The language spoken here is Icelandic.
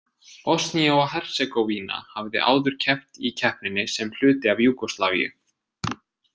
Bosnía og Hersegóvína hafði áður keppt í keppninni sem hluti af Júgóslavíu.